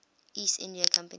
east india company